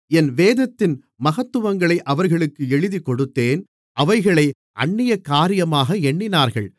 என் வேதத்தின் மகத்துவங்களை அவர்களுக்கு எழுதிக்கொடுத்தேன் அவைகளை அந்நிய காரியமாக எண்ணினார்கள்